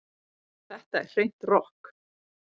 Þetta er hreint rokk